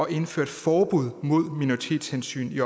indføre et forbud mod minoritetshensyn i